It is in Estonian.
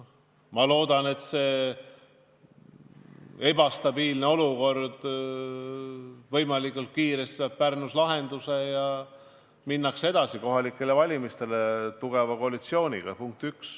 Ma loodan, et Pärnu ebastabiilne olukord saab võimalikult kiiresti lahenduse ja kohalikele valimistele minnakse vastu tugeva koalitsiooniga.